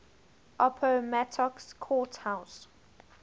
appomattox court house